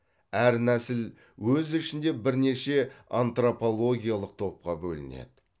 әр нәсіл өз ішінде бірнеше антропологиялық топқа бөлінеді